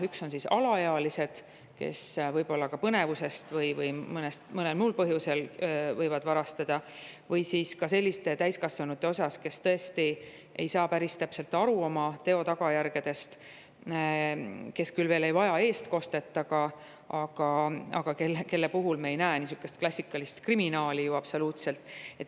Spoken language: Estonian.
Need on alaealised, kes põnevusest või mõnel muul põhjusel võivad varastada, ja sellised täiskasvanud, kes ei saa päris täpselt aru oma teo tagajärgedest ja kes küll veel ei vaja eestkostet, aga kelle puhul me klassikalist kriminaalset ei näe ju absoluutselt.